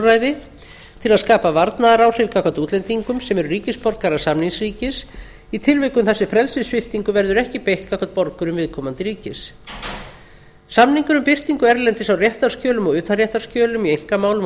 nauðungarúrræði til að skapa varnaðaráhrif gagnvart útlendingum sem eru ríkisborgarar samningsríkis í tilvikum þar sem frelsissviptingu verður ekki beitt gagnvart borgurum viðkomandi ríkis samningur um birtingu erlendis á réttarskjölum og utanréttarskjölum í einkamálum og